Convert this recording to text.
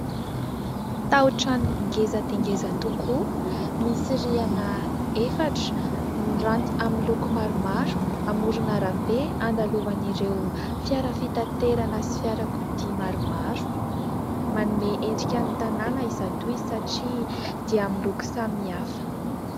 Tao-trano ngeza dia ngeza tokoa, misy riana efatra, miranty amin'ny loko maro maro. Amorona arabe, andalovan'ireo fiara fitaterana sy fiara kodia maro maro manome endrika ny tanàna izato izy, satria dia amin'ny loko samy hafa.